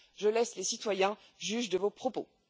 Je laisse les citoyens juges de vos propos.